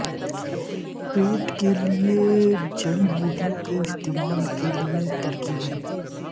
پیٹ کے لئے جڑی بوٹیوں کے استعمال کے لئے ترکیبیں